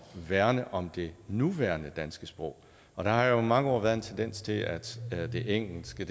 værne om det nuværende danske sprog og der har jo i mange år været en tendens til at det engelske